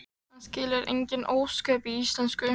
Hann skilur engin ósköp í íslensku.